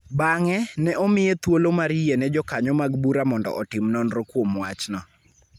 Bang�e, ne omiye thuolo mar yie ne jokanyo mag bura mondo otim nonro kuom wachno .